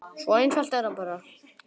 Svo einfalt er það bara.